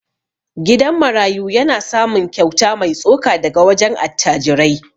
Gidan marayu yana samun kyauta mai tsoka daga wajen attajirai.